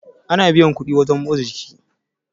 ana biyan kuɗi wajen motsa jiki